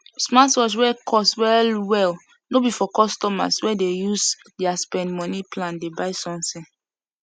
smartwatch wey cost well well no be for customer wey dey use their spend money plan dey buy something